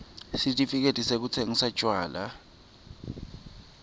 sitifiketi sekutsingisa tjwala